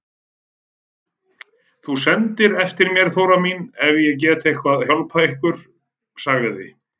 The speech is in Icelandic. Þú sendir eftir mér Þóra mín ef ég get eitthvað hjálpað ykkur, sagði